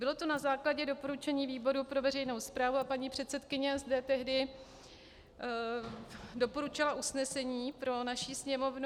Bylo to na základě doporučení výboru pro veřejnou správu a paní předsedkyně zde tehdy doporučila usnesení pro naši Sněmovnu.